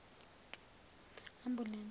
ambulense